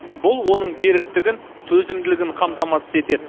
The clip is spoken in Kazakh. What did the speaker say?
бұл оның беріктігін төзімділігін қамтамасыз етеді